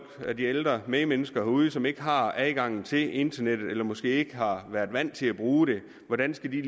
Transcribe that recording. af de ældre medmennesker derude som ikke har adgang til internettet eller som måske ikke har været vant til at bruge det hvordan skal de